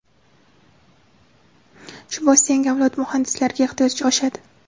Shu bois yangi avlod muhandislariga ehtiyoj oshadi.